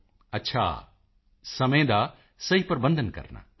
ਮੋਦੀ ਜੀ ਅੱਛਾ ਸਮੇਂ ਦਾ ਸਹੀ ਪ੍ਰਬੰਧਨ ਕਰਨਾ